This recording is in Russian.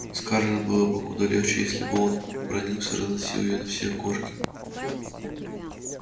скарлетт было бы куда легче если бы он бранился разносил её на все корки